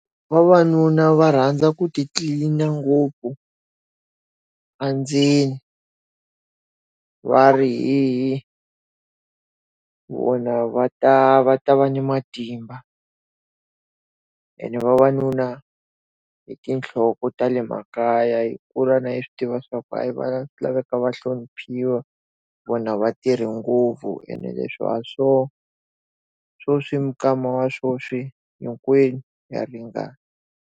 Vavanuna va rhandza ku ti tlilina ngopfu andzeni. Va ri , vona va ta va ta va ni matimba. Ene vavanuna i tinhloko ta le makaya hi kula na hina hi swi tiva swa ku a yi swi laveka va hloniphiwa, vona va tirha ngopfu ene leswi a hi swona. Sweswi minkama wa sweswi hinkwenu ha ringana.